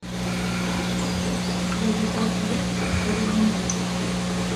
у тебя в запасе есть ускоренный мир